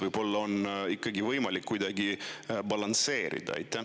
Võib-olla on ikkagi võimalik kuidagi balansseerida?